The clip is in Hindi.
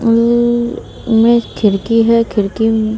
ऊ में खिड़की है खिड़की--